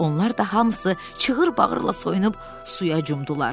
Onlar da hamısı çığır-bağırla soyunub suya cumdular.